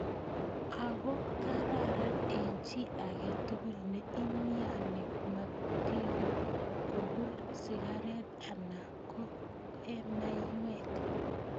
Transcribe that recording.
Ako ka raran eng chi ake tugul ne imyani matiko kokul sikaret ana ko ee maywek.